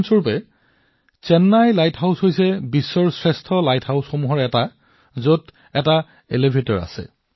যেনে Chennai lighthouse হৈছে বিশ্বৰ আটাইতকৈ নিৰ্বাচিত লাইট হাউচ যত লিফ্ট আছে